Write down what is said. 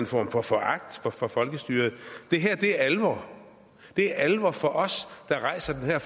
form for foragt for folkestyret det her er alvor det er alvor for os der rejser den her